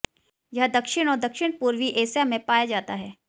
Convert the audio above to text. यह दक्षिण और दक्षिण पूर्वी एशिया में पाया जाता है